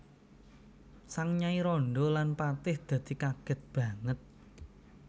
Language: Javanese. Sang nyai randha lan patih dadi kagèt banget